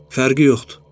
Fərqi yoxdur.